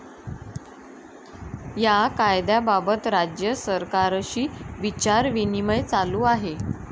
या कायद्याबाबत राज्य सरकारशी विचारविनिमय चालू आहे.